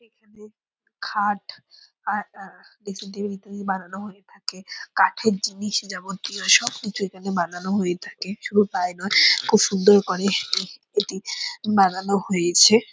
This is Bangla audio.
এইখানে খাট আর এন্হ ড্রেসিং টেবিল ইত্যাদি বানানো হয়ে থাকে | কাঠের জিনিস যাবতীয় সব কিছু এখানে বানানো হয়ে থাকে | সুধু তাই নই খুব সুন্দর করে এটি বানানো হয়েছে ।